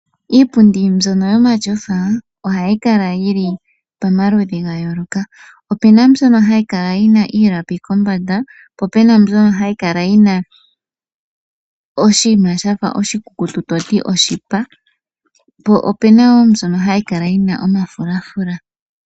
Iipundi mbyono yomashofa ohayi kala yili pomaludhi gayooloka. Opena mbyono hayi kala ayina omalapi kombanda, po opena mbyono hayi kala yina oshiima shafa oshikukutu toti oshipa, po opena wo mbyono hayi kala yina omafulafula.